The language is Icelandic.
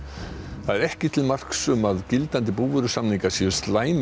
það er ekki til marks um að gildandi búvörusamningar séu slæmir